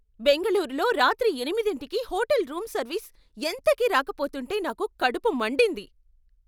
బెంగళూరులో రాత్రి ఎనిమిదింటికి హోటల్ రూంసర్వీస్ ఎంతకీ రాకపోతుంటే నాకు కడుపు మండింది.